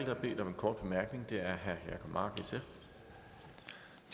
kop